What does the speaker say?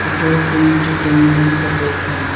a tall green tree dominans the background.